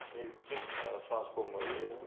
неліктен сұраныс болмай отыр